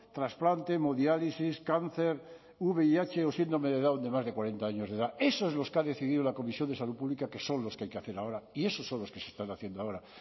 trasplante hemodiálisis cáncer vih o síndrome de down de más de cuarenta años de edad esos son los que ha decidido la comisión de salud pública que son los que hay que hacer ahora y esos son los que se están haciendo ahora